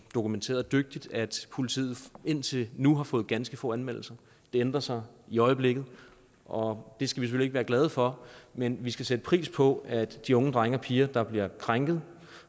dokumenterede dygtigt at politiet indtil nu har fået ganske få anmeldelser det ændrer sig i øjeblikket og det skal vi være glade for men vi skal sætte pris på at de unge drenge og piger der bliver krænket